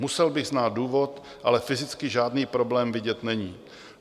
Musel bych znát důvod, ale fyzicky žádný problém vidět není.